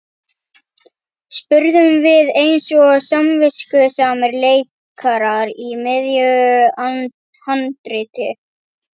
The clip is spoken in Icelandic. spurðum við eins og samviskusamir leikarar í miðju handriti.